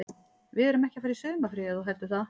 Við erum ekki að fara í sumarfrí ef þú heldur það.